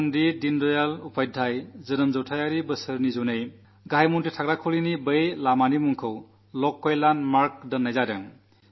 പണ്ഡിത ദീനദയാൽ ഉപാധ്യായയുടെ ജന്മശതാബ്ദി വർഷം കണക്കിലെടുത്ത് പ്രധാനമന്ത്രിയുടെ വസതി സ്ഥിതി ചെയ്യുന്ന ആ റോഡിന്റെ പേര് ലോക് കല്യാണ് മാർഗ് എന്നു മാറ്റിയിരിക്കുകയാണ്